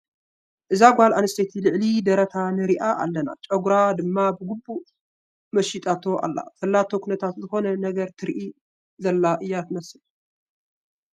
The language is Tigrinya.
እዛ ጓል ኣነስተይቲ ልዕሊ ደረታ ንሪኣ ኣለና፡፡ ጨጉራ ድማ ብግቡእ ተመሺጣቶ ኣላ፡፡ ዘለቶ ኩነታታ ዝኾነ ነገር ትርኢ ዘላ እያ ትመስል፡፡